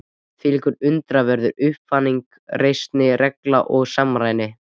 Hvílík undraverð upphafning, reisn, regla og samræmi